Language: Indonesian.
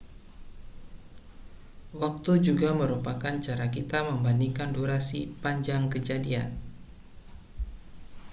waktu juga merupakan cara kita membandingkan durasi panjang kejadian